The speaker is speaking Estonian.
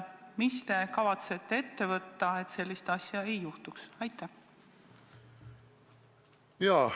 Mida te kavatsete ette võtta, et sellist asja ei juhtuks?